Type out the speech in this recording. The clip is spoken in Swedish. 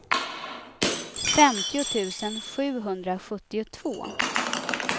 femtio tusen sjuhundrasjuttiotvå